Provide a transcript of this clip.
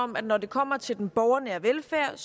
om at når det kommer til den borgernære velfærd er